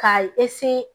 K'a